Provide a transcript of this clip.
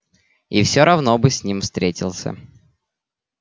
и всё равно бы с ним встретился